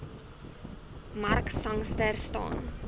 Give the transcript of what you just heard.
mark sangster staan